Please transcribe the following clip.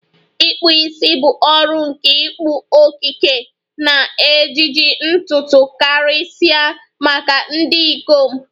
ikpụ isi bụ ọrụ nke ịkpụ, okike, na ejiji ntutu, karịsịa maka ndị ikom.